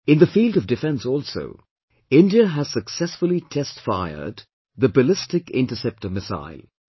In the field of defence also, India has successfully test fired the Ballistic Interceptor Missile